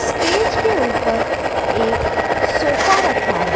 Stage के ऊपर एक सोफा रखा है।